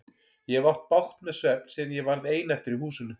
Ég hef átt bágt með svefn síðan ég varð ein eftir í húsinu.